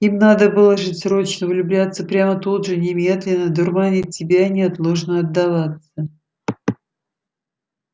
им надо было жить срочно влюбляться прямо тут же немедленно дурманить себя и неотложно отдаваться